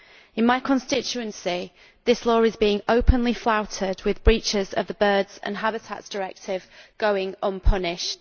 In my constituency this law is being openly flouted, with breaches of the Birds and Habitats Directives going unpunished.